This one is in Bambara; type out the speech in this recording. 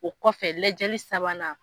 O kɔfɛ lajɛli sabanan